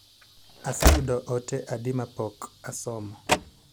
Aseyudo ote adi mapok asomo?